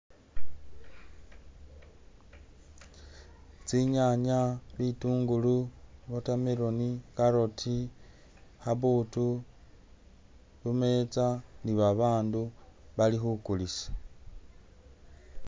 Tsinyanya, bitungulu, watermelon, carrot, khabbutu, bumeetsa ni babandu bali khukulisa.